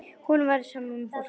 Honum er sama um fólk.